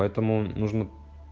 поэтому нужно